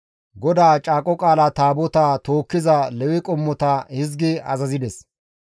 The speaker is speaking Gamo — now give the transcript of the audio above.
GODAA Caaqo Qaala Taabotaa tookkiza Lewe qommota hizgi azazides;